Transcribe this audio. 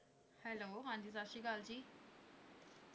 hello ਹਾਂ, ਸਤਸ੍ਰੀਕਲ ਜੀ